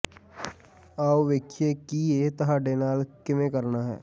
ਆਉ ਵੇਖੀਏ ਕਿ ਇਹ ਤੁਹਾਡੇ ਨਾਲ ਕਿਵੇਂ ਕਰਨਾ ਹੈ